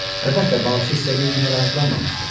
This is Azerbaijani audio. Əlbəttə, balıqçı istədiyi kimi rahatlanmamışdı.